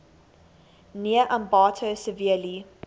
near ambato severely